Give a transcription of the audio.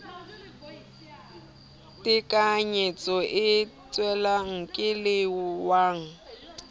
tekanyetso e tswellang ke lewa